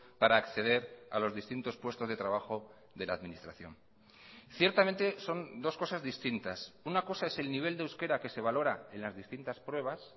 para acceder a los distintos puestos de trabajo de la administración ciertamente son dos cosas distintas una cosa es el nivel de euskera que se valora en las distintas pruebas